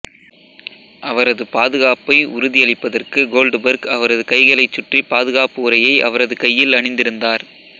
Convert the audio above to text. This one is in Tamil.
அவரது பாதுகாப்பை உறுதியளிப்பதற்கு கோல்ட்பர்க் அவரது கைகைளைச் சுற்றி பாதுகாப்பு உறையை அவரது கையில் அணிந்திருந்தார்